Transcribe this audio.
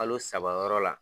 Kalo saba yɔrɔ la.